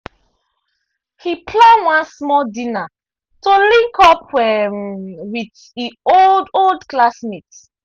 he plan one small dinner to link up um with e old old classmates